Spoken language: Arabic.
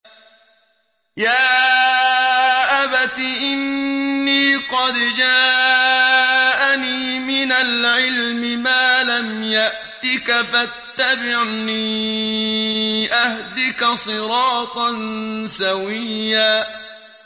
يَا أَبَتِ إِنِّي قَدْ جَاءَنِي مِنَ الْعِلْمِ مَا لَمْ يَأْتِكَ فَاتَّبِعْنِي أَهْدِكَ صِرَاطًا سَوِيًّا